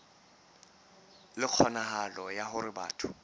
le kgonahalo ya hore batho